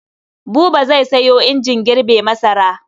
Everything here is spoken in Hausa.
Buba zai sayo injin girbe masara.